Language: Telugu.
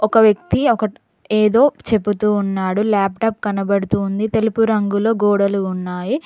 ఒక వ్యక్తి ఒకటి ఏదో చెబుతూ ఉన్నాడు లాప్టాప్ కనబడుతుంది తెలుపు రంగులో గోడలు ఉన్నాయి.